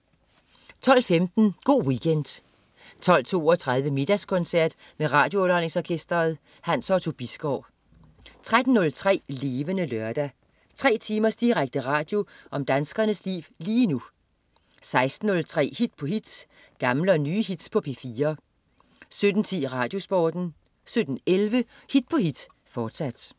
12.15 Go' Weekend 12.32 Middagskoncert med RadioUnderholdningsOrkestret. Hans Otto Bisgaard 13.03 Levende Lørdag. Tre timers direkte radio om danskernes liv lige nu 16.03 Hit på hit. Gamle og nye hits på P4 17.10 RadioSporten 17.11 Hit på hit, fortsat